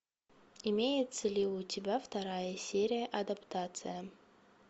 имеется ли у тебя вторая серия адаптация